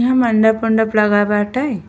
यहाँ मंडप उंडप लगा बाटे।